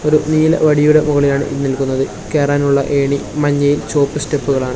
ഒരു നീല വടിയുടെ മുകളിലാണ് നിൽക്കുന്നത് കേറാൻ ഉള്ള ഏണി മഞ്ഞയും ചുമപ്പ് സ്റ്റെപ്പുകളാണ് .